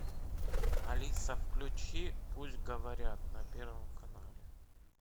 алиса включи пусть говорят на первом канале